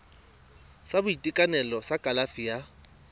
sa boitekanelo sa kalafi ya